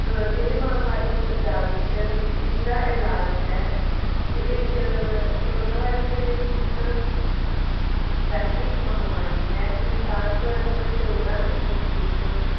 ਅਹ ਇਹੀ ਮਹਾਮਾਰੀ ਤੋਂ ਬਚਾ ਵਿਚ ਇਸਦਾ ਦਾ ਇਲਾਜ ਹੈ ਕੇ ਇਹ ਅਹ corona virus ਦੇ ਲਈ ਇਕ ਵੈਸ਼ਵਿਕ ਮਹਾਮਾਰੀ ਹੈ ਸੰਸਾਰਭਰ ਚ ਕਰੋੜਾਂ ਦੀ ਗਿਣਤੀ ਚ।